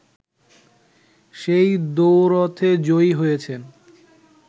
সেই দ্বৈরথে জয়ী হয়েছেন